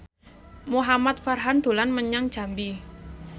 Muhamad Farhan dolan menyang Jambi